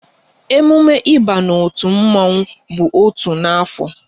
Emume ịba n'otu mmanwu bụ otu n'afọ